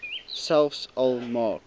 selfs al maak